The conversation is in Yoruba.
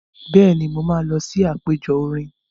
Bẹ́ẹ̀ni, mo máa lọ sí àpẹjọ orin.